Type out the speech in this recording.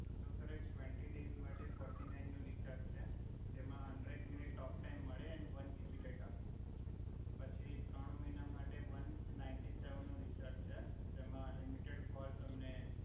જો સર એક twenty days માટે ફોર્ટી નાઇન નુ રીચાર્જ છે જેમા હંડ્રેડ મિનિટ ટોક્મટાઈમ મળે એન વન જીબી ડેટા પછી ત્રણ મહિના માટે વન નાઇંટી સેવન નુ રિચાર્જ છે જેમા અનલિમિટેડ કોલ તમને